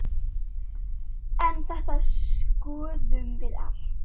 En þetta skoðum við allt.